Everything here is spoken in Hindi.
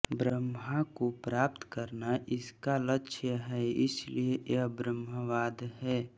ब्रह्म को प्राप्त करना इसका लक्ष्य है इसलिए यह ब्रह्मवाद है